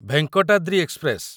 Venkatadri express